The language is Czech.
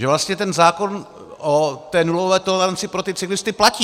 Že vlastně ten zákon o té nulové toleranci pro ty cyklisty platí.